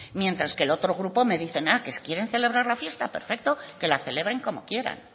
mientras que el otro grupo me dicen que si quieren celebrar la fiesta perfecto que la celebren como quieran